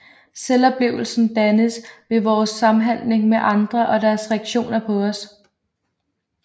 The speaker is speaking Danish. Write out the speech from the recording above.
Selvoplevelsen dannes ved vores samhandling med andre og deres reaktioner på os